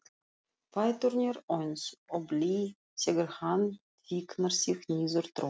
Fæturnir eins og blý þegar hann fikrar sig niður tröppurnar.